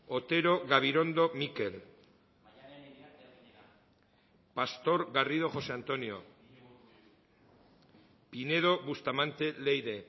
otero gabirondo mikel pastor garrido josé antonio pinedo bustamante leire